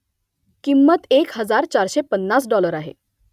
किंमत एक हजार चारशे पन्नास डॉलर आहे